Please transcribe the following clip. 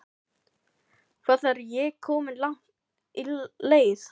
Hvað er ég komin langt á leið?